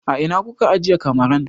A ina kuka ajiye kamaran?